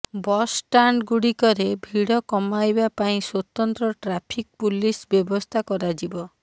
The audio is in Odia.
ବସ୍ଷ୍ଟାଣ୍ଡଗୁଡ଼ିକରେ ଭିଡ଼ କମାଇବା ପାଇଁ ସ୍ୱତନ୍ତ୍ର ଟ୍ରାଫିକ୍ ପୁଲିସ ବ୍ୟବସ୍ଥା କରାଯିବ